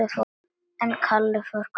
En Kalli fór hvergi.